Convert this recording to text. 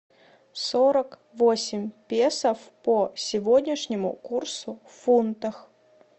сорок восемь песо по сегодняшнему курсу в фунтах